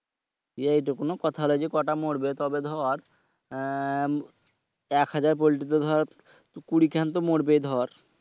এইটা কোন কথা হইলো যে কয়টা মরবে তো দর অ্যাঁয় দর এক হাজার পল্টিতে দর কুড়িখান তো মরবেই দর।